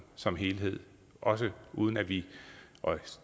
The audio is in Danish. som helhed også uden at vi og